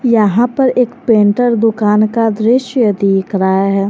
यहां पर एक पेंटर दुकान का दृश्य देख रहा है।